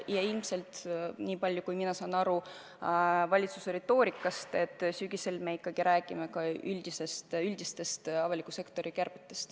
Ja niipalju kui mina olen valitsuse retoorikast aru saanud, sügisel me ikkagi räägime ka üldistest avaliku sektori kärbetest.